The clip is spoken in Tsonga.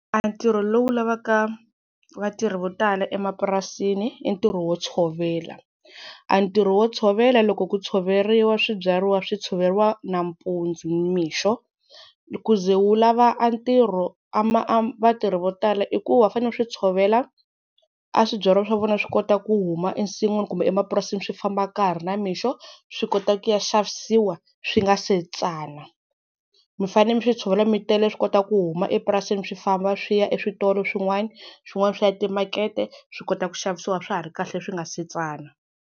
A ntirho lowu lavaka vatirhi vo tala emapurasini i ntirho wo tshovela, a ntirho wo tshovela loko ku tshoveriwa swibyariwa swi tshoveriwa nampundzu nimixo ku ze wu lava a ntirho a vatirhi vo tala i ku va fanele ku swi tshovela a swibyariwa swa vona swi kota ku huma ensin'wini kumbe emapurasini swi famba ka ha ri namixo swi kota ku ya xavisiwa swi nga se tsana, mi fane mi swi tshovela mi tele swi kota ku huma epurasini swi famba swi ya eswitolo swin'wana, swin'wana swi ya timakete swi kota ku xavisiwa swa ha ri kahle leswi nga se tsana.